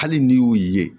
Hali n'i y'u ye